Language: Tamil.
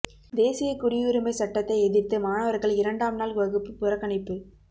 தேசிய குடியுரிமை சட்டத்தை எதிர்த்து மாணவர்கள் இரண்டாம் நாள் வகுப்பு புறக்கணிப்பு